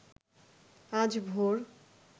আজ ভোর